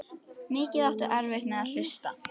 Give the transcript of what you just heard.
Mikið áttu erfitt með að hlusta.